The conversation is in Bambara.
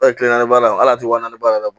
kile naani baara ala tɛ wari naani baara